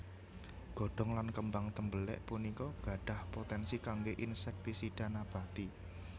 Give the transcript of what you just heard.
Godhong lan kembang tembelek punika gadhah potensi kangge insektisida nabati